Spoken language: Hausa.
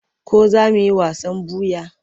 Ko za mu yi wasan ɓuya?